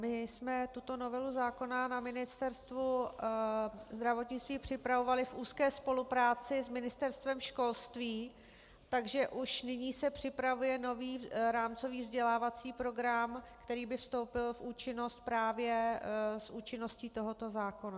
My jsme tuto novelu zákona na Ministerstvu zdravotnictví připravovali v úzké spolupráci s Ministerstvem školství, takže už nyní se připravuje nový rámcový vzdělávací program, který by vstoupil v účinnost právě s účinností tohoto zákona.